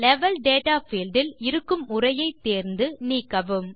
level data field இல் இருக்கும் உரையை தேர்ந்து நீக்கவும்